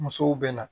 Musow bɛ na